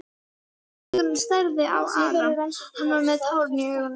Drengurinn starði á Ara, hann var með tárin í augunum.